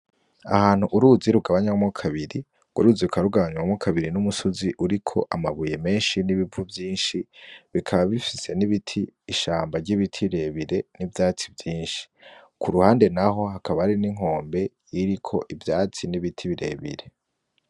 Aha hantu, uruzi rugabanwemwo kabiri. Urwo ruzi rukaba rugabanwemwo kabiri numusozi uriko amabuye menshi n’ibivu vyinshi, bikaba bifis n’ibiti: ishamba ry’ibiti birebire n’ivyatsi vyinshi. Kuruhande naho, hakaba hari n’inkombe ririko ivyatsi n’ibiti birebire.